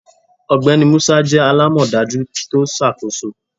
Ọgbẹni Musa jẹ alamọdaju ti o ṣakoso